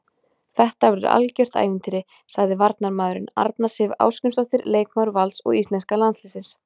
Þetta verður algjört ævintýri, sagði varnarmaðurinn, Arna Sif Ásgrímsdóttir leikmaður Vals og íslenska landsliðsins.